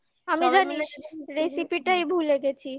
আমি জানিস recipe টাই ভুলে গেছি